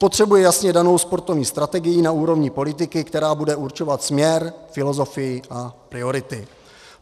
Potřebujeme jasně danou sportovní strategii na úrovni politiky, která bude určovat směr, filozofii a priority.